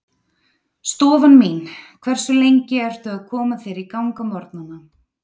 Stofan mín Hversu lengi ertu að koma þér í gang á morgnanna?